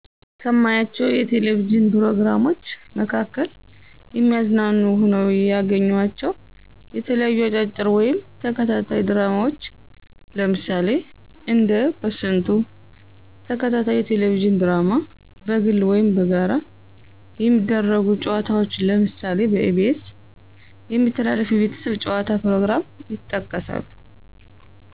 ከማያቸው የቴሌቪዥን ፕሮግራሞች መካከል የሚያዝናኑ ሆነው ያገኘኋቸው የተለያዩ አጫጭር ወይም ተከታታይ ድራማዎች ለምሳሌ እንደ በስንቱ ተከታታይ የቴሌቪዥን ድራማ፣ በግል ወይም በጋራ የሚደረጉ ጨዋታዎች ለምሳሌ በኢ.ቢ.ኤስ የሚተላለፍ የቤተሰብ ጨዋታ ፕሮግራም ይጠቀሳሉ።